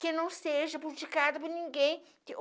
que não seja politicada por ninguém.